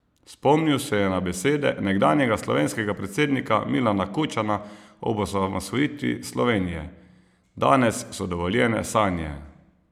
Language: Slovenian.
Spomnil je na besede nekdanjega slovenskega predsednika Milana Kučana ob osamosvojitvi Slovenije: "Danes so dovoljene sanje.